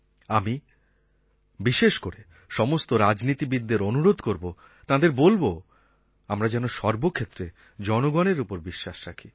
আমি বিশেষ করে সমস্ত রাজনীতিবিদ্দের অনুরোধ করব তাঁদের বলব আমরা যেন সর্বক্ষেত্রে জনগণের ওপর বিশ্বাস রাখি